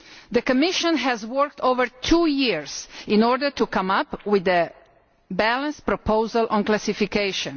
The Commission has worked for over two years in order to come up with a balanced proposal on classification.